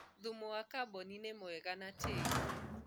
thumu wa carbon nĩ mwega na tĩĩri